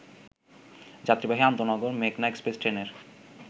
যাত্রীবাহী আন্তঃনগর মেঘনা এক্সপ্রেস ট্রেনের